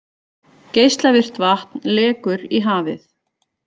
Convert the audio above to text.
Geislavirkt vatn lekur í hafið